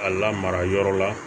A lamara yɔrɔ la